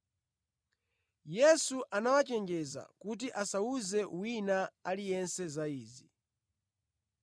Yesu anawachenjeza kuti asawuze wina aliyense za Iye.